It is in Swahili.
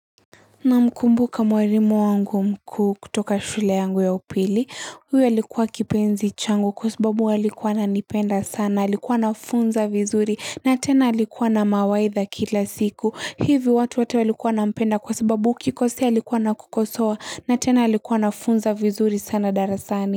Na mkumbuka mwalimu wangu mkuu kutoka shule yangu ya upili, huyo alikuwa kipenzi changu kwa sababu alikuwa anipenda sana, alikuwa na funza vizuri na tena alikuwa na mawaitha kila siku. Hivi watu wate walikuwa na mpenda kwa sababu ukikosea alikuwa na kukosowa na tena alikuwa na funza vizuri sana darasani.